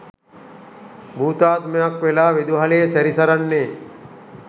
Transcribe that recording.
භූතාත්මයක් වෙලා විදුහලේ සැරිසරන්නේ.